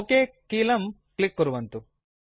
okay कीलकं click कुर्वन्तु